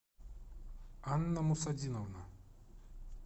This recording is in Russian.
анна мусадиновна